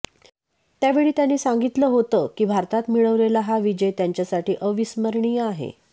त्यावेळी त्यांनी सांगितलं होतं की भारतात मिळवलेला हा विजय त्यांच्यासाठी अविस्मरणीय आहे